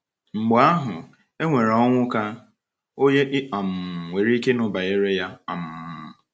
Mgbe ahụ, e nwere Onwuka, onye i um nwere ike ịnụ banyere ya. um